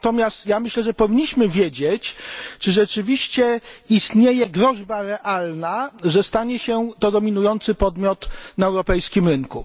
Natomiast ja myślę, że powinniśmy wiedzieć, czy rzeczywiście istnieje groźba realna, że stanie się to dominujący podmiot na europejskim rynku.